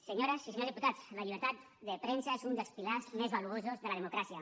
senyores i senyors diputats la llibertat de premsa és un dels pilars més valuosos de la democràcia